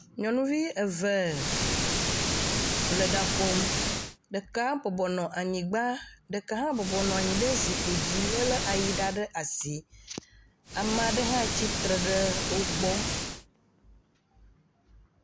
Nyɔnuvi eve le ɖa ƒom, ɖeka bɔbɔ nɔ anyi anyigba, ɖeka hã bɔbɔ nɔ anyi ɖe zikpui dzi, elé ayiɖa ɖe asi, ame aɖe hã tsi tre ɖe wo gbɔ.